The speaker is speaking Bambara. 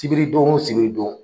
Sibiridon o sibiridon.